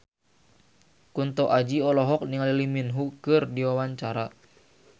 Kunto Aji olohok ningali Lee Min Ho keur diwawancara